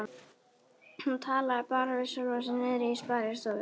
Hún talaði bara við sjálfa sig niðri í sparistofu.